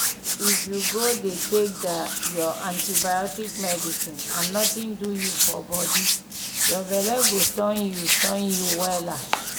if u go dey take dah ur antibiotics medicine and nothing do u for body ur belle go turn u turn u wella